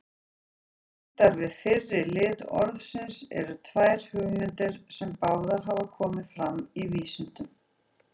Tengdar við fyrri lið orðsins eru tvær hugmyndir, sem báðar hafa komið fram í vísindunum.